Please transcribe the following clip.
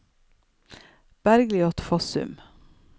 Bergliot Fossum